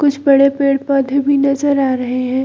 कुछ बड़े पेड़-पौधे भी नज़र आ रहे हैं।